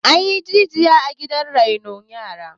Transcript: an yi rijiya a gidan renon yara